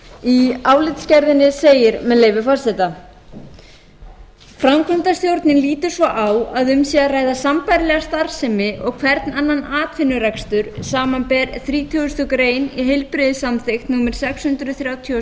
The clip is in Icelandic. í álitsgerðinni segir með leyfi forseta framkvæmdarstjórnin lítur svo á að um sé að ræða sambærilega starfsemi og hvern annan atvinnurekstur samanber þrítugustu greinar í heilbrigðissamþykkt númer sex hundruð þrjátíu og